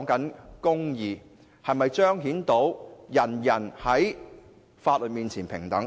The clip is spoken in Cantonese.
這關乎是否彰顯到法律面前人人平等。